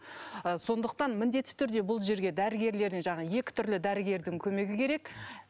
ы сондықтан міндетті түрде бұл жерге дәрігерлердің жаңағы екі түрлі дәрігердің көмегі керек